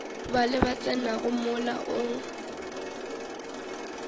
bale ba tsenago mola o